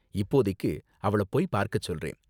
இப்போதைக்கு அவள போய் பார்க்க சொல்றேன்.